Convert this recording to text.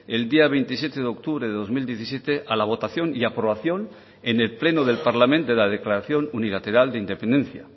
el día veintisiete de octubre de dos mil diecisiete a la votación y aprobación en el pleno del parlament de la declaración unilateral de independencia